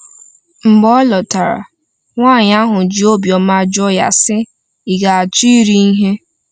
Mgbe ọ lọtara, nwaanyị ahụ ji obiọma jụọ ya, sị: “Ị ga-achọ iri ihe?”